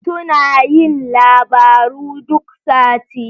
Suna yin labaru duk sati.